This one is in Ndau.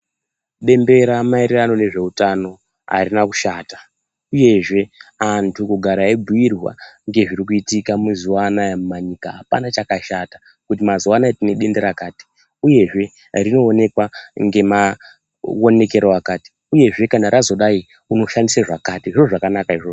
Bembera maererano nezveutano harina kushata, uyezve antu kugara eibhuyirwa ngezviri kuitika mazuwa anaya mumamiganga hapana chakashata. Kuti mazuwa anaya tine denda rakati, uyezve rinoonekwa ngemaonekere akati, uyezve kana razodai unoshandise zvakati, zviro zvakanaka izvozvo.